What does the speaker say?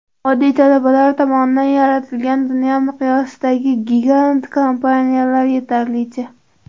Oddiy talabalar tomonidan yaratilgan dunyo miqyosidagi gigant kompaniyalar yetarlicha.